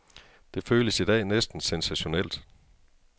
Det føles i dag næsten sensationelt.